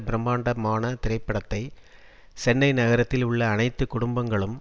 பிரமாண்டமான திரைப்படத்தை சென்னை நகரத்தில் உள்ள அனைத்து குடும்பங்களும்